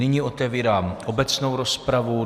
Nyní otevírám obecnou rozpravu.